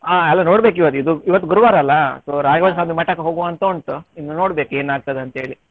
ಆ ಅಲ್ಲಾ ನೋಡ್ಬೇಕು ಇವತ್ತು ಇದು ಇವತ್ತು ಗುರುವಾರ ಅಲ್ಲಾ so ರಾಘವೇಂದ್ರ ಸ್ವಾಮಿ ಮಠಕ್ಕೆ ಹೋಗುವಂಥ ಉಂಟು ಇನ್ನು ನೋಡ್ಬೇಕು ಏನಾಗ್ತದೆ ಅಂತೇಳಿ.